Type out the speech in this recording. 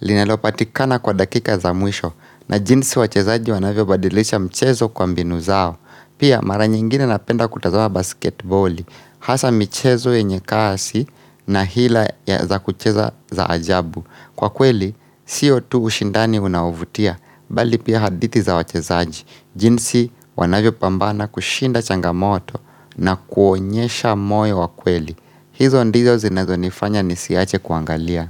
linalopatikana kwa dakika za mwisho. Na jinsi wachezaji wanavyobadilisha mchezo kwa mbinu zao. Pia mara nyingine napenda kutazama basketboli. Hasa mchezo yenye kasi na hila za kucheza za ajabu. Kwa kweli, sio tu ushindani unaovutia. Bali pia hadithi za wachezaji, jinsi wanavyo pambana kushinda changamoto na kuonyesha moyo wa kweli. Hizo ndizo zinazonifanya nisiache kuangalia.